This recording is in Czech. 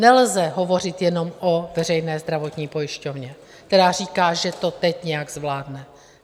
Nelze hovořit jenom o veřejné zdravotní pojišťovně, která říká, že to teď nějak zvládne.